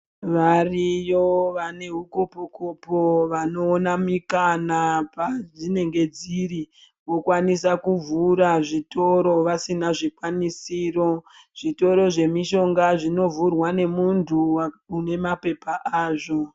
Variyo vane hukopo-kopo vanoona mikana padzinenge dziri vokwanisa kuvhura zvitoro vasina zvikwanisiro. Zvitoro zvemishonga zvinovhurwa nemuntu une mapepa azvo.